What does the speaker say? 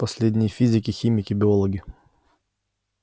последние физики химики биологи